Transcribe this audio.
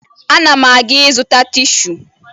Ana m aga ịzụta tishu